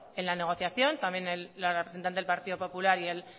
en la negociación también la representante del partido popular y el